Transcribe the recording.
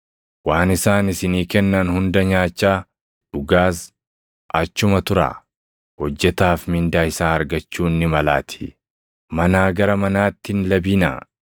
Waan isaan isinii kennan hunda nyaachaa, dhugaas achuma turaa; hojjetaaf mindaa isaa argachuun ni malaatii. Manaa gara manaatti hin labinaa.